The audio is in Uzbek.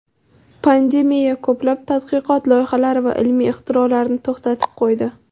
Pandemiya ko‘plab tadqiqot loyihalari va ilmiy ixtirolarni to‘xtatib qo‘ydi.